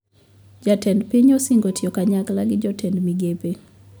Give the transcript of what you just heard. Jatend piny osingo tiyo kanyakla gi jotend migepe